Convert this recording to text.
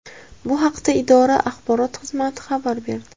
Bu haqda idora axborot xizmati xabar berdi .